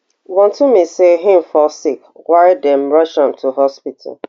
wontumi say im fall sick why dem rush am to hospital